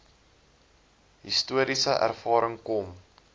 historiese ervaring kom